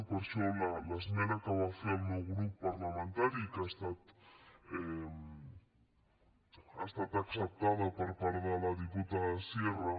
i per això l’esmena que va fer el meu grup parlamentari que ha estat acceptada per part de la diputada sierra